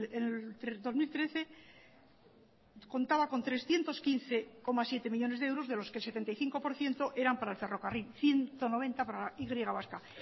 el dos mil trece contaba con trescientos quince coma siete millónes de euros de los que el setenta y cinco por ciento eran para el ferrocarril y ciento noventa para la y vasca